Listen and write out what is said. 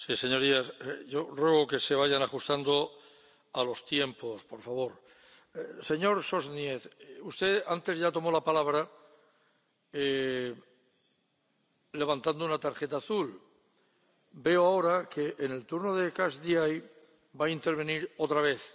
Señorías, ruego que se vayan ajustando a los tiempos, por favor. Señor, Sośnierz, usted antes ya tomó la palabra levantando una tarjeta azul, veo ahora que en el turno de catch de eye va a intervenir otra vez.